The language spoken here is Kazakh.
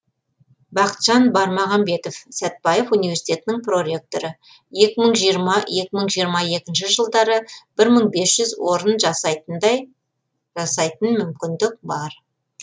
бақытжан бармағамбетов сәтбаев университетінің проректоры екі мың жиырма екі мың жиырма екінші жылдары бір мың бес жүз орын жасайтындай жасайтын мүмкіндік бар